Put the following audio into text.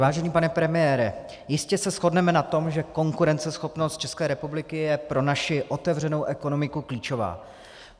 Vážený pane premiére, jistě se shodneme na tom, že konkurenceschopnost České republiky je pro naši otevřenou ekonomiku klíčová.